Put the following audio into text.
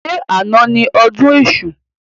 Ṣé àna ni ọdún èṣù?